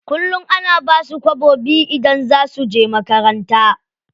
Kullum ana basu kwabo biyu idan za suje makaranta.